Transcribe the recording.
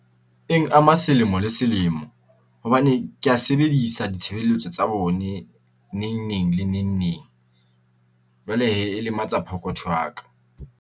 Eng ama selemo le selemo, hobane kea sebedisa ditshebeletso tsa bone neng neng, le neng neng. Jwale hee e lematsa pokotho ya ka.